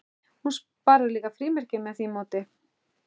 Hún sparar líka frímerkin með því móti.